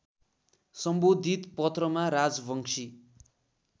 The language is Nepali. सम्बोधित पत्रमा राजवंशी